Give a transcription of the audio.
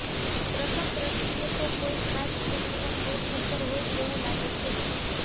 પ્રથમ દ્રષ્ટિએ તો કોઈ ખાસ ફિલ્મના સેટ ઉપર હોય તેવું લાગે છે